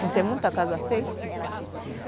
Não tem muita casa feita?